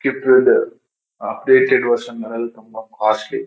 The updated version ಮನೆಲ್ ತುಂಬ costly .